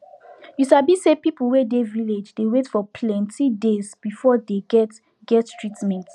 you sabi say people wey dey village dey wait for plenti days before dey get get treatment